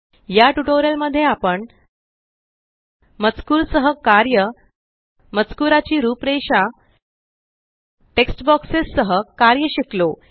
याटयूटोरियल मध्ये आपण मजकूर सह कार्य मजकुराची रूपरेषा टेक्स्ट बॉक्सेस सह कार्य शिकलो